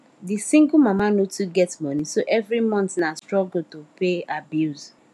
the single mama no too get money so every month na struggle to pay her bills